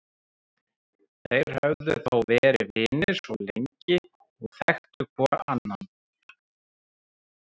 Þeir höfðu þó verið vinir svo lengi og þekktu hvor annan.